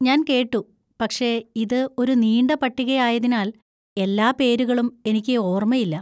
ഞാൻ കേട്ടു, പക്ഷേ ഇത് ഒരു നീണ്ട പട്ടികയായതിനാൽ, എല്ലാ പേരുകളും എനിക്ക് ഓർമ്മയില്ല.